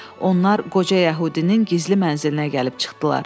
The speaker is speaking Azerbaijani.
Onlar qoca yəhudinin gizli mənzilinə gəlib çıxdılar.